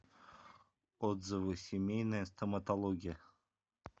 отзывы семейная стоматология